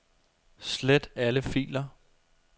Slet alle filer.